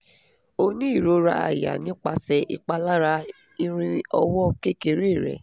o ni irora aya nipase ipalara irin owo kekere re